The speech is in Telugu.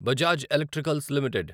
Bajaj electricals limited